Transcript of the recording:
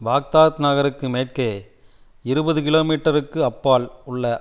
Baghdad நகருக்கு மேற்கே இருபது கிலோ மீட்டருக்கு அப்பால் உள்ள